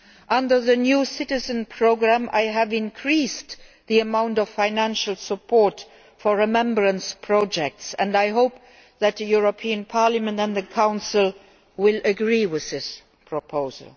Under the new Citizenship programme, I have increased the amount of financial support for remembrance projects and I hope that the European Parliament and the Council will agree with this proposal.